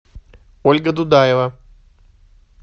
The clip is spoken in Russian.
ольга дудаева